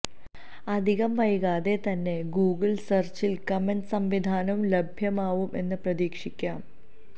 അധികം വൈകാതെ തന്നെ ഗൂഗിള് സെര്ച്ചില് കമന്റ് സംവിധാനവും ലഭ്യമാവും എന്ന് പ്രതീക്ഷിക്കാം